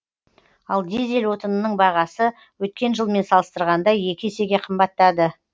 ал дизель отынының бағасы өткен жылмен салыстырғанда екі есеге қымбаттады